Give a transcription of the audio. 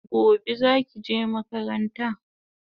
Gobe zaki je makaranta?